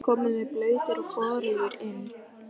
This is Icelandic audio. Oft komum við blautir og forugir inn.